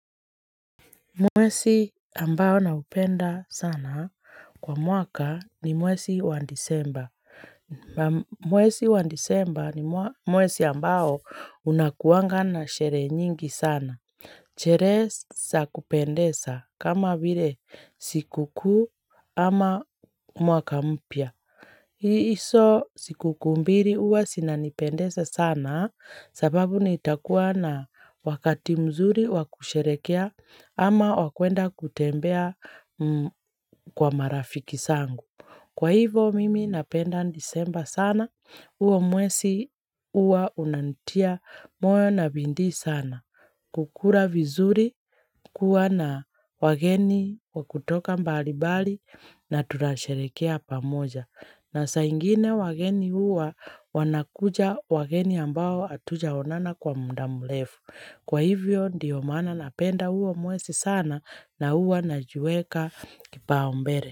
Mwezi ambao naupenda sana kwa mwaka ni mwezi wa disemba. Mwezi wa disemba ni mwezi ambao unakuangana na sherehe nyingi sana. Cheresa kupendesa kama bire siku kuu ama mwaka mpya. Hii iso siku kumbiri uwa sinanipendesa sana sababu nitakuwa na wakati mzuri wakusherekea. Ama wakwenda kutembea kwa marafiki zangu. Kwa hivo mimi napenda disemba sana, huo mwezi huwa unantia moyo na bidii sana. Kukula vizuri kuwa na wageni wakutoka mbalimbali na tunasherehekea pamoja. Na saa ingine wageni huwa wanakuja wageni ambao hatujaonana kwa muda mlefu. Kwa hivyo ndiyo maana napenda huo mwezi sana na huo naju huweka kipau mbele.